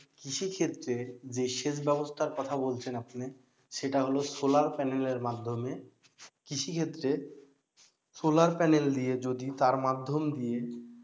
কৃষিক্ষেত্রে যে সেচ ব্যবস্থার কথা বলছেন আপনি সেটা হল solar panel এর মাধ্যমে। কৃষিক্ষেত্রে solar panel দিয়ে যদি তার মাধ্যম দিয়ে,